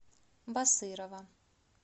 басырова